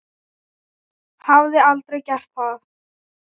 Hafði aldrei gert það.